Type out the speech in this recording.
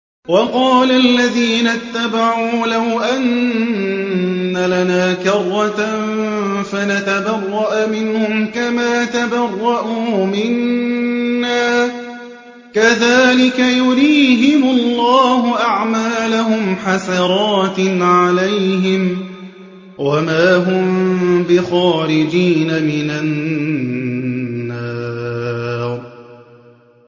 وَقَالَ الَّذِينَ اتَّبَعُوا لَوْ أَنَّ لَنَا كَرَّةً فَنَتَبَرَّأَ مِنْهُمْ كَمَا تَبَرَّءُوا مِنَّا ۗ كَذَٰلِكَ يُرِيهِمُ اللَّهُ أَعْمَالَهُمْ حَسَرَاتٍ عَلَيْهِمْ ۖ وَمَا هُم بِخَارِجِينَ مِنَ النَّارِ